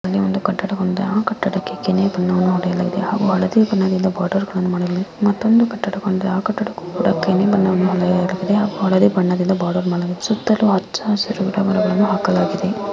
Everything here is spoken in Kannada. ಸುತ್ತಲೂ ಅಚ್ಚಹಸರಿನ ಗಿಡ ಮರಗಳನ್ನು ಅಲ್ಲಿ ಒಂದು ಕಟ್ಟಡ ಒಂದಿದೆ ಆ ಕಟ್ಟಡಕ್ಕೆ ಗಿಣಿ ಬಣ್ಣವನ್ನು ಒಡೆಯಲಾಗಿದೆ ಹಾಗೂ ಹಳದಿ ಬಣ್ಣದಿಂದ ಬಾರ್ಡರ್ ಗಳನ್ನು ಮಾಡಲಾಗಿದೆ ಮತ್ತೊಂದು ಕಟ್ಟಡ ಒಂದಿದೆ ಆ ಕಟ್ಟಡಕ್ಕೆ ಕೂಡ ಗಿಣಿ ಬಣ್ಣವನ್ನು ಒಡೆಯಲಾಗಿದೆ ಹಾಗೂ ಹಳದಿ ಬಣ್ಣದಿಂದ ಬಾರ್ಡರ್ ಮಾಡಲಾಗಿದೆ. ಸುತ್ತಲೂ ಹಚ್ಚ ಹಸಿರು ಗಿಡ ಮರಗಳು--